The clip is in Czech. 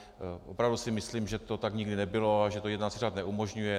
Opravdu si myslím, že to tak nikdy nebylo a že to jednací řád neumožňuje.